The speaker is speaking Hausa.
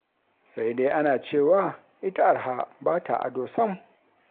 Sai dai ana cewa ita arha ba ta ado sam.